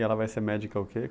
E ela vai ser médica o quê?